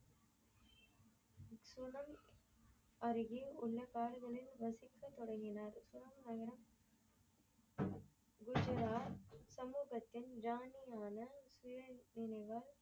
அருகே உள்ள காடுகளில் வசிக்க தொடங்கினார் சமூகத்தின் ராணியான